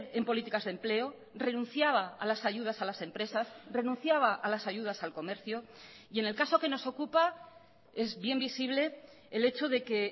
en políticas de empleo renunciaba a las ayudas a las empresas renunciaba a las ayudas al comercio y en el caso que nos ocupa es bien visible el hecho de que